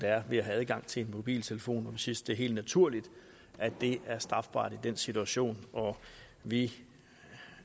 er ved at have adgang til en mobiltelefon vi synes det er helt naturligt at det er strafbart i den situation og vi